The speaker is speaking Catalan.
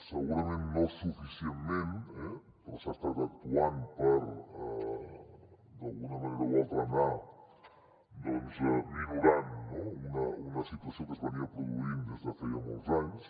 segurament no suficientment però s’ha estat actuant per d’alguna manera o altra anar doncs minorant una situació que es produïa des de feia molts anys